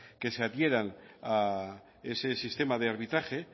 que se adhieran a ese sistema de arbitraje